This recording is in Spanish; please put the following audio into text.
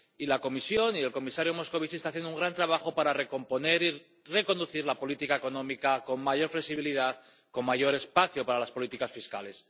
Y la Comisión y el comisario Moscovici están haciendo un gran trabajo para recomponer y reconducir la política económica con mayor flexibilidad, con mayor espacio para las políticas fiscales.